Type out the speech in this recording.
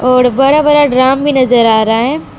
और बड़ा बड़ा ड्रम भी नजर आ रहा है।